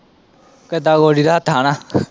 ਕਿਦਾ ਗੋਡੀ ਦਾ ਹੱਥਾਂ ਨਾ।